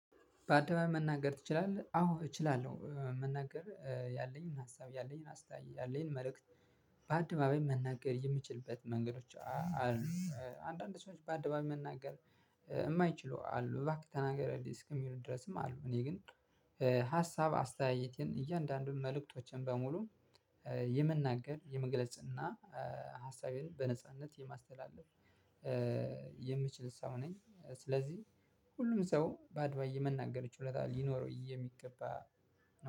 በአደባባይ መናገር ትችላለህ? አዎ እችላለሁ መናገር ያለኝን ሀሳብ ያለኝን አስታይ ያለኝን መልእክት በአደባባይ መናገር የምችልበት መንገዶች አሉ። አንዳንድ ሰዎች በአደባባይ መናገር የማይችሉ አሉ እባክህ ተናገርልኝ እስከሚሉ ድረስም አሉ። እኔ ግን ሀሳብ አስተየየቴን እያንዳንዱን መልዕክቶቼን በሙሉ የመናገር የመግለጽ እና ሃሳቤን በነጻነት የማስተላለፍ የምችል ሰው ነኝ። ስለዚህ ሁሉም ሰው በአድባይ የመናገር ይችላል የሚገባ።